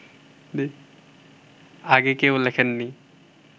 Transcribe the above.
আগে কেউ লেখেননি